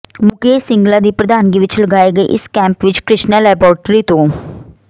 ਮੁਕੇਸ਼ ਸਿੰਗਲਾ ਦੀ ਪ੍ਰਧਾਨਗੀ ਵਿਚ ਲਗਾਏ ਗਏ ਇਸ ਕੈਂਪ ਵਿਚ ਕਿ੍ਸ਼ਨਾ ਲੈਬੋਰੇਟਰੀ ਤੋਂ ਡਾ